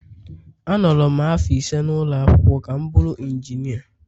Anọrọ m afọ ise n’ụlọ akwụkwọ ka m bụrụ injinia